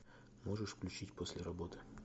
можешь включить после работы